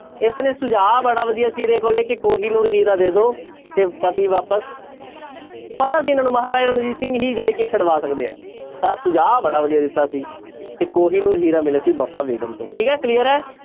ਇਸਨੇ ਸੁਝਾਅ ਬੜਾ ਵਧੀਆ ਸੀ ਇਹਦੇ ਕੋਲੇ ਕਿ ਕੋਹੀਨੂਰ ਹੀਰਾ ਦੇ ਦਓ ਤੇ ਪਤੀ ਵਾਪਸ ਪਤਾ ਸੀ ਇਹਨਾਂ ਨੂੰ ਮਹਾਰਾਜਾ ਰਣਜੀਤ ਸਿੰਘ ਹੀ ਜਿਹੜੇ ਕਿ ਛਡਵਾ ਸਕਦੇ ਹੈ, ਤਾਂ ਸੁਝਾਅ ਬੜਾ ਵਧੀਆ ਦਿੱਤਾ ਸੀ, ਤੇ ਕੋਹੀਨੂਰ ਹੀਰਾ ਮਿਲਿਆ ਸੀ ਵਫ਼ਾ ਬੇਗ਼ਮ ਤੋਂ ਠੀਕ ਹੈ clear ਹੈ।